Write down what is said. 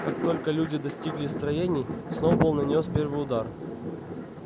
как только люди достигли строений сноуболл нанёс первый удар